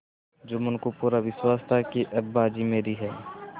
जुम्मन को पूरा विश्वास था कि अब बाजी मेरी है